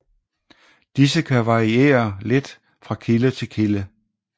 Disse kan variere lidt fra kilde til kilde